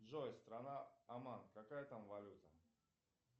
джой страна оман какая там валюта